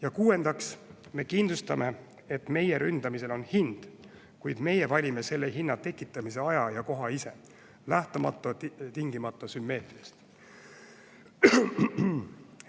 Ja kuuendaks kindlustame, et meie ründamisel on hind, kuid meie ise valime selle hinna tekitamise aja ja koha, lähtumata tingimata sümmeetriast.